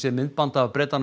myndband af